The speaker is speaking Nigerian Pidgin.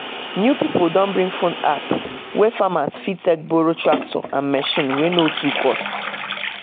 "new people don bring phone app wey farmers fit take borrow tractor and machine wey no too cost